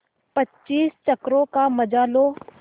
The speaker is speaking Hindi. पच्चीस चक्करों का मजा लो